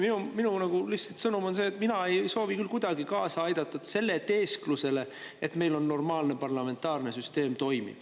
Minu sõnum on lihtsalt see, et mina ei soovi küll kuidagi kaasa aidata selle teesklusele, et meil toimib normaalne parlamentaarne süsteem.